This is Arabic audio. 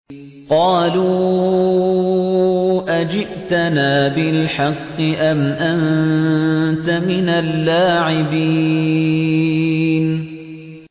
قَالُوا أَجِئْتَنَا بِالْحَقِّ أَمْ أَنتَ مِنَ اللَّاعِبِينَ